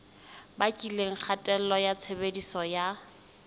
bakileng kgatello ya tshebediso ya